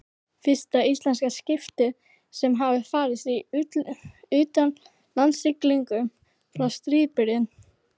Fyrsta íslenska skipið sem hafði farist í utanlandssiglingum frá stríðsbyrjun.